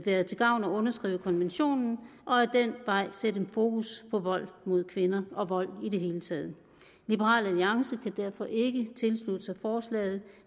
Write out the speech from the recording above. være til gavn at underskrive konventionen og ad den vej sætte fokus på vold mod kvinder og vold i det hele taget liberal alliance kan derfor ikke tilslutte sig forslaget